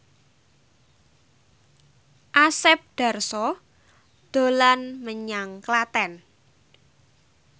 Asep Darso dolan menyang Klaten